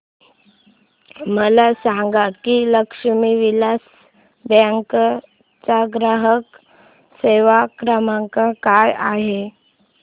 मला सांगा की लक्ष्मी विलास बँक चा ग्राहक सेवा क्रमांक काय आहे